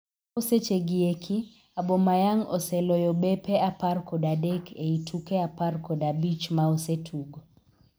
Chopo seche gi eki, Aubameyang oseloyo bepe apar kod adek ei tuke apar kod abich ma osetugo.